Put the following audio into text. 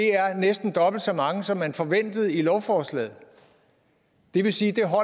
næsten er dobbelt så mange som man forventede i lovforslaget det vil sige